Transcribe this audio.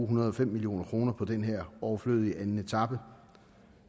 hundrede og fem million kroner på den her overflødige anden etape